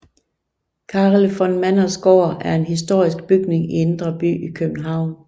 Karel van Manders Gård er en historisk bygning i Indre By i København